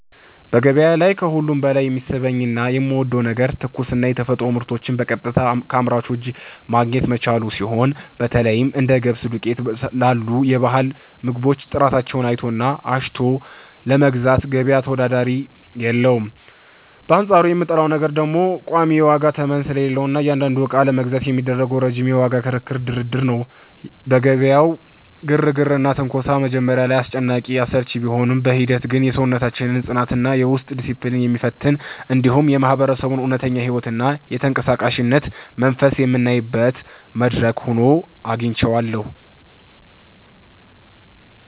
በገበያ ላይ ከሁሉ በላይ የሚስበኝና የምወደው ነገር ትኩስና የተፈጥሮ ምርቶችን በቀጥታ ከአምራቹ እጅ ማግኘት መቻሉ ሲሆን፣ በተለይም እንደ ገብስ ዱቄት ላሉ የባህል ምግቦች ጥራታቸውን አይቶና አሽትቶ ለመግዛት ገበያ ተወዳዳሪ የለውም፤ በአንጻሩ የምጠላው ነገር ደግሞ ቋሚ የዋጋ ተመን ስለሌለ እያንዳንዱን ዕቃ ለመግዛት የሚደረገው ረጅም የዋጋ ክርክርና ድርድር ነው። የገበያው ግርግርና ትንኮሳ መጀመሪያ ላይ አስጨናቂና አሰልቺ ቢሆንም፣ በሂደት ግን የሰውነታችንን ጽናትና የውስጥ ዲስፕሊን የሚፈትን፣ እንዲሁም የማህበረሰቡን እውነተኛ ሕይወትና የተንቀሳቃሽነት መንፈስ የምናይበት መድረክ ሆኖ አግኝቼዋለሁ።